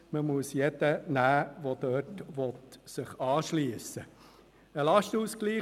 Man muss jeden nehmen, der sich dort anschliessen will.